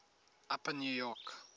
upper new york